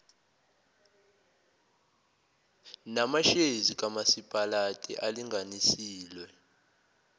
namashezi kamasipalati alinganiselwe